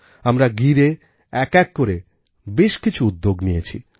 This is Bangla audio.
আমরা গিরএ একএক করে বেশ কিছুউদ্যোগনিয়েছি